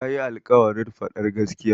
Ta yi alƙawarin faɗar gaskiya.